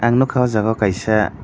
ang nogka o jaga o kaisa.